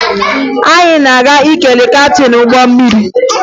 Anyị na-aga ikele kaptịn ụgbọ mmiri